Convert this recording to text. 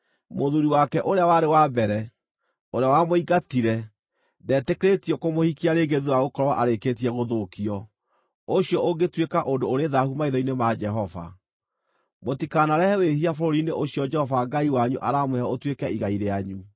mũthuuri wake ũrĩa warĩ wa mbere, ũrĩa wamũingatire, ndetĩkĩrĩtio kũmũhikia rĩngĩ thuutha wa gũkorwo arĩkĩtie gũthũkio. Ũcio ũngĩtuĩka ũndũ ũrĩ thaahu maitho-inĩ ma Jehova. Mũtikanarehe wĩhia bũrũri-inĩ ũcio Jehova Ngai wanyu aramũhe ũtuĩke igai rĩanyu.